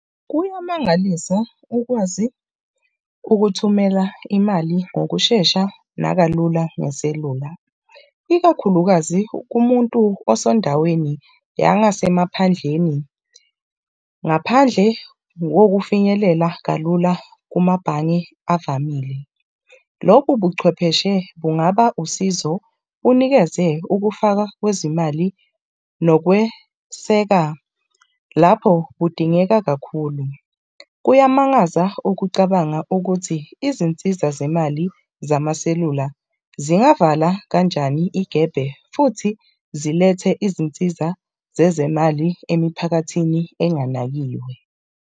Kuyamangalisa ukwazi ukuthumela imali ngokushesha nakalula ngeselula, ikakhulukazi kumuntu osendaweni yasemaphandleni ngaphandle ngokufinyelela kalula kumabhange avamile. Lobu buchwepheshe bungaba usizo, bunikeze ukufaka kwezimali nokweseka lapho kudingeka kakhulu. Kuyamangaza ukucabanga ukuthi izinsiza zemali zamaselula zingavala kanjani igebhe futhi zilethe izinsiza zezemali emiphakathini enganakiwe.